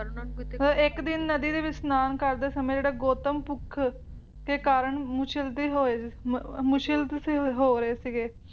ਇੱਕ ਦਿਨ ਨਦੀ ਦੇ ਵਿੱਚ ਇਸ਼ਨਾਨ ਕਰਦੇ ਸਮੇਂ ਜਿਹੜਾ ਗੌਤਮ ਭੁੱਖ ਦੇ ਕਾਰਨ ਮੁਸ਼ਲ ਵੀ ਹੋਏ ਮੁਸ਼ਲਦ ਹੋ ਰਹੇ ਸੀਗੇ